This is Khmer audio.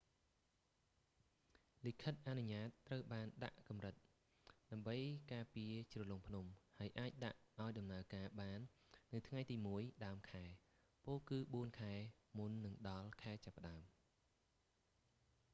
លិខិតអនុញ្ញាតត្រូវបានដាក់កំរិត ដើម្បីការពារជ្រលងភ្នំ ហើយអាចដាក់ឱ្យដំណើរការបាននៅថ្ងៃទី1 ដើមខែ ពោល គឺបួនខែមុននឹងដល់ខែចាប់ផ្តើម